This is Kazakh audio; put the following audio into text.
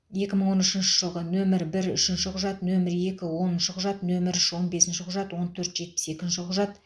екі мың он үшінші жылғы нөмірі бір үшінші құжат нөмірі екі оныншы құжат нөмірі үш он бесінші құжат он төрт жетпіс екінші құжат